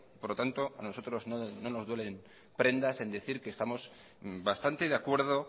por lo tanto nosotros no nos duele en prendas en decir que estamos bastante de acuerdo